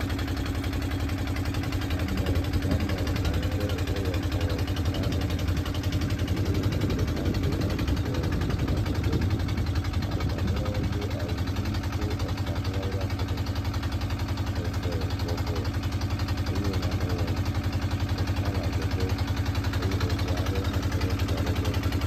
Ame woame ade wo le xɔ gã aɖe me eye ŋutsu ɖeka do awu yibɔ le adzɔ ge. Ame mamlɛwo do awu ʋi tsɔ eta xla wo ɖe afɔ gɔ me. Eve bɔbɔ eye wo nɔ nane wɔm. Ɖeka le adzɔ ge eye eve aɖewo tɔ ɖe ekplɔ aɖe gbɔ.